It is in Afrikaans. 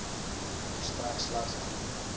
verstrek slegs anonieme